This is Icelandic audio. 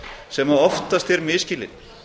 sem oftast er misskilinn